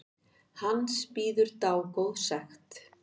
Hans bíður dágóð sekt.